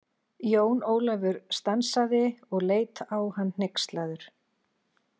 Jón Ólafur stansaði og leit á hann hneykslaður.